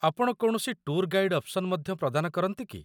ଆପଣ କୌଣସି tour guide option ମଧ୍ୟ ପ୍ରଦାନ କରନ୍ତି କି?